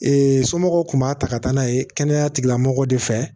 somɔgɔw tun b'a ta ka taa n'a ye kɛnɛya tigilamɔgɔw de fɛ